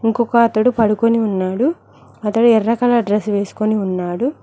ఇంకొక అతడు పడుకొని ఉన్నాడు అతడు ఎర్ర కలర్ డ్రస్ వేసుకొని ఉన్నాడు.